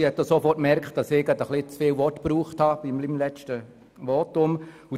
Sie hat auch sofort gemerkt, dass ich in meinem letzten Votum ein bisschen zu viele Worte gebraucht habe.